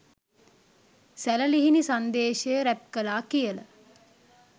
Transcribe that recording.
සැළලිහිණි Sandeshaya rap කළා කියල